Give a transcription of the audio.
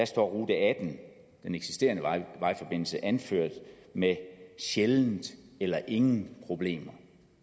står rute atten den eksisterende vejforbindelse anført med sjældent eller ingen problemer